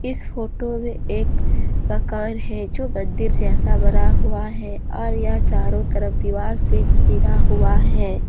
इस फोटो में एक मकान है जो मंदिर जैसा बना हुआ है और यहां चारों तरफ दीवार से घिरा हुआ है।